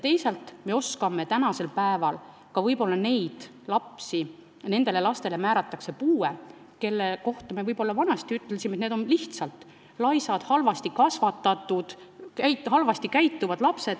Lisaks me oskame võib-olla ka nendele lastele puude määrata, kelle kohta vanasti öeldi, et need on laisad, halvasti kasvatatud ja halvasti käituvad.